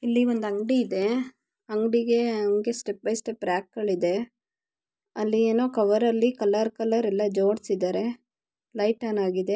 ಇಲ್ಲಿ ಒಂದು ಅಂಗಡಿಯಿದೆ ಹಂಗೆ ಅಂಗಡಿಯಲ್ಲಿ ಸ್ಟೆಪ್ ಬೈ ಸ್ಟೆಪ್ ರ್ಯಾಕ್ ಗಳಿದೆ ಅಲೇನೋ ಕವರ್ ಅಲ್ಲಿ ಕಲರ್ ಕಲರ್ ಜೋಡ್ಸಿದರೆ ‌ ಲೈಟ್ ಆನ್ ಆಗಿದೆ